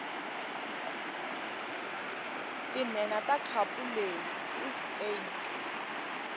tinhenha takhapuleyi ispain